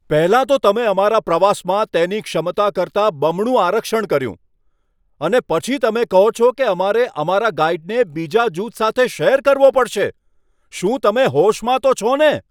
પહેલાં તો તમે અમારા પ્રવાસમાં તેની ક્ષમતા કરતાં બમણું આરક્ષણ કર્યું અને પછી તમે કહો છો કે અમારે અમારા ગાઈડને બીજા જૂથ સાથે શેર કરવો પડશે. શું તમે હોશમાં તો છો ને?